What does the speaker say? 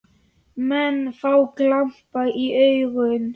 Menn fá glampa í augun.